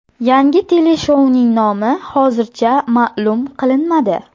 Yangi teleshouning nomi hozircha ma’lum qilinmadi.